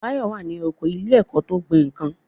Báyọ̀ wà ní oko ilé ẹ̀kọ́ tó ń gbin nǹkan